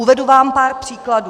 Uvedu vám pár příkladů.